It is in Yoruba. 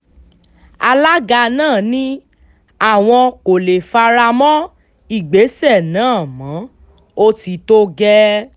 alága náà ni àwọn kò lè fara mọ́ ìgbésẹ̀ náà mọ́ ó ti tó gẹ́ẹ́